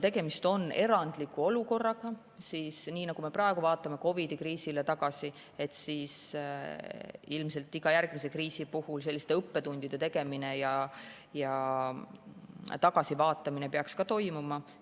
Tegemist on erandliku olukorraga ja nii, nagu me praegu vaatame COVID-i kriisile tagasi, peaks ilmselt iga järgmise kriisi puhul õppetundide ja tagasivaatamine toimuma.